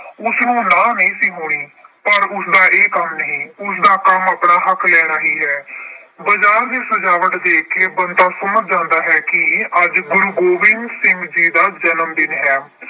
ਉਸਨੂੰ ਨਾਂਹ ਨਹੀਂ ਸੀ ਹੋਣੀ। ਪਰ ਉਸਦਾ ਇਹ ਕੰਮ ਨਹੀਂ। ਉਸਦਾ ਕੰਮ ਆਪਣਾ ਹੱਕ ਲੈਣਾ ਹੀ ਹੈ। ਬਾਜਾਰ ਦੀ ਸਜਾਵਟ ਦੇਖ ਕੇ ਬੰਤਾ ਸਮਝ ਜਾਂਦਾ ਹੈ ਕਿ ਅੱਜ ਗੁਰੂ ਗੋਬਿੰਦ ਸਿੰਘ ਜੀ ਦਾ ਜਨਮਦਿਨ ਹੈ।